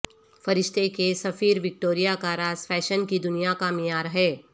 فرشتہ کے سفیر وکٹوریہ کا راز فیشن کی دنیا کا معیار ہے